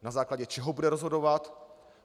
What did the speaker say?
Na základě čeho bude rozhodovat?